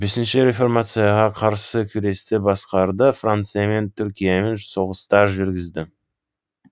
бесінші реформацияға қарсы күресті басқарды франциямен түркиямен соғыстар жүргізді